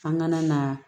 An kana na